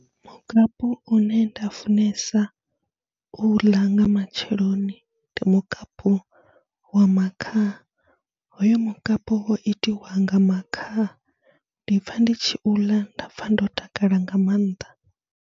Mukapu une nda funesa u u ḽa nga matsheloni ndi mukapu wa makhaha, hoyo mukapu wo itiwa nga makhaha, ndi pfha ndi tshi u ḽa nda pfha ndo takala nga maanḓa.